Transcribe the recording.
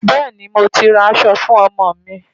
Bẹ́ẹ̀ni, mo ti ra aṣọ fún ọmọ mi.